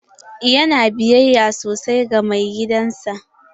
Yana biyayya sosai ga mai gidan sa.